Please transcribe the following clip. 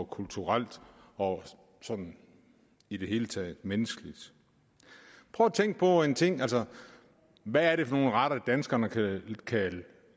kulturelt og sådan i det hele taget menneskeligt prøv at tænke på en ting hvad er det for nogle retter danskerne